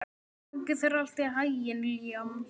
Gangi þér allt í haginn, Liam.